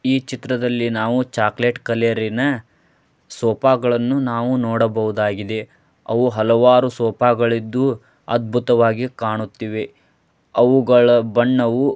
ಈ ಚಿತ್ರದಲ್ಲಿ ನಾವು ಚಾಕ್ಲೆಟ್ ಕಲೆರಿನ ಸೋಫಾಗಳನ್ನೂ ನಾವು ನೋಡಬಹುದಾಗಿದೆ ಅವು ಹಲವಾರು ಸೋಫಾಗಳಿದ್ದು ಅದ್ಭುತವಾಗಿ ಕಾಣುತ್ತಿವೆ ಅವುಗಳ ಬಣ್ಣವು --